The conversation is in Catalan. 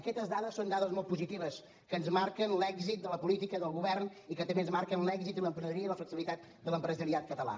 aquestes dades són dades molt positives que ens marquen l’èxit de la política del govern i que també ens marquen l’èxit i l’emprenedoria i la flexibilitat de l’empresariat català